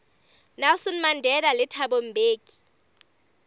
nelson mandela le thabo mbeki